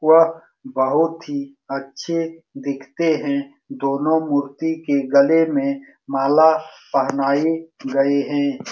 वह बहुत ही अच्छे दीखते हैं दोनों मूर्ति के गले में माला पहनाइ गए हैं।